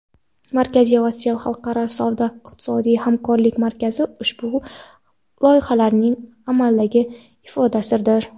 "Markaziy Osiyo" xalqaro savdo iqtisodiy hamkorlik markazi ushbu loyihalarning amaldagi ifodasidir.